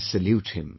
I salute him